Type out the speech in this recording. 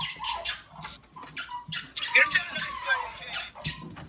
Það var varla að mér tækist að færast úr stað.